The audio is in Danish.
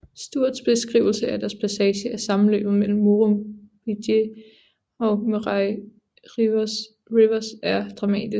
Sturts beskrivelse af deres passage af sammenløbet mellem Murrumbidgee og Murray Rivers er dramatisk